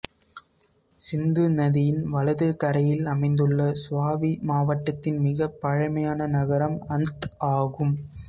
சிந்து நதியின் வலது கரையில் அமைந்துள்ள சுவாபி மாவட்டத்தின் மிகப் பழமையான நகரம் அந்த் ஆகும்